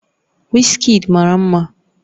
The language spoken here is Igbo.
Wizkid mara mma